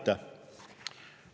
Aitäh!